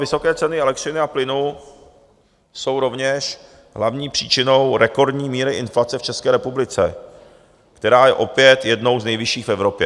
Vysoké ceny elektřiny a plynu jsou rovněž hlavní příčinou rekordní míry inflace v České republice, která je opět jednou z nejvyšších v Evropě.